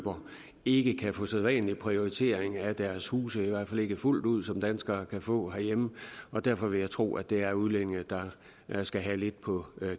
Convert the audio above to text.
ikke kan få sædvanlig prioritering af deres huse i hvert fald ikke fuldt ud som danskere kan få herhjemme og derfor vil jeg tro at det vil være udlændinge der skal have lidt på